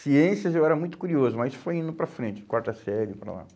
Ciências eu era muito curioso, mas foi indo para frente, quarta série, para lá.